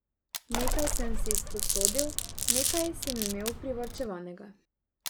Nekaj sem si izposodil, nekaj sem imel privarčevanega.